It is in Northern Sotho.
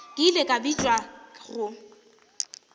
ke ile ka bitšwa go